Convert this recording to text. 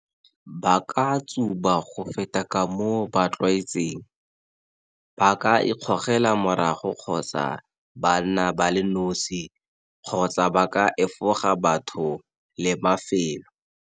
Ba ka tsuba go feta ka moo ba tlwaetseng, ba ka ikgogela morago kgotsa ba nna ba le nosi kgotsa ba ka efoga batho le mafelo.